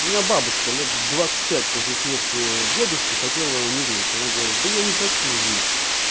у меня бабушка лет двадцать пять после смерти дедушки хотела умереть она говорит да я не хочу жить